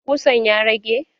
Ƙusan ya rage?